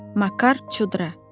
Makar Çudra.